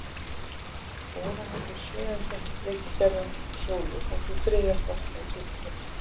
Úranus er sjöunda reikistjarnan frá sólu og sú þriðja stærsta í sólkerfinu.